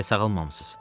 Hələ sağalmamısız.